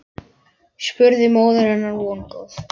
spurði móðir hennar vongóð.